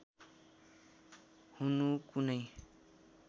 हुनु कुनै